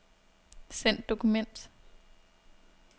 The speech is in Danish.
Send dokument.